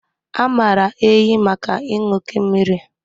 A maara ehi maka ịṅụ oké mmiri